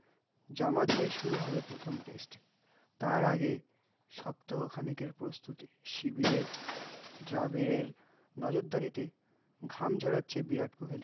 যা মাথায়ে শুরু হবে প্রথম test, তার আগে সপ্ত ক্ষণিকের প্রস্তুতি, সিবিয়ের, জবীরের নজরদারি তে ঘাম ঝোড়াচ্ছে বিরত কোহলি